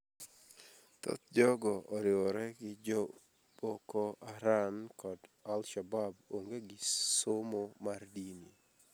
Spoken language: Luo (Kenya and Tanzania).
Thoth jogo oriwore gi jo Boko Haram kod al-Shabab onge gi somo mar dini